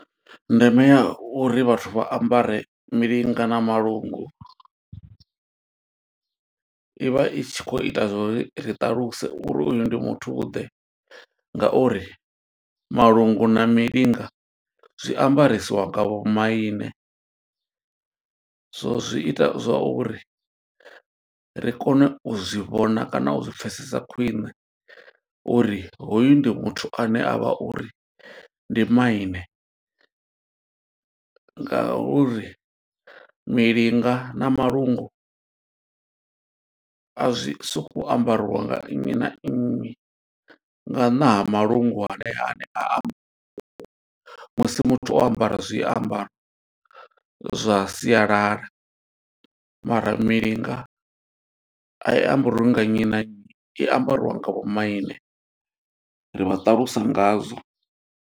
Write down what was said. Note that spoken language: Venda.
Ndeme ya uri vhathu vha ambare milinga na malungu, ivha i tshi kho ita zwo ri ri ṱaluse, uri uyu ndi muthu ḓe. Ngauri malungu na milinga zwiambarisiwa nga vhomaine, so zwo zwi ita zwa uri ri kone u zwi vhona kana u zwi pfesesa khwine. Uri hoyu ndi muthu ane avha uri ndi maine, nga uri milinga na malungu a zwi sokou ambariwa nga nnyi na nnyi, nga nnḓa ha malungu a musi muthu o ambara zwiambaro zwa sialala. Mara milinga a i ambriwi nga nnyi na nnyi, i ambariwa nga vhomaine ri vha ṱalusa nga zwo.